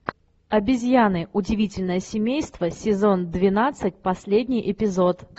обезьяны удивительное семейство сезон двенадцать последний эпизод